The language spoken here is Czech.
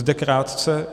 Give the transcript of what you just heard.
Zde krátce.